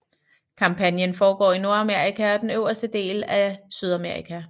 Kampagnen forgår i Nordamerika og den øverste del af Sydamerika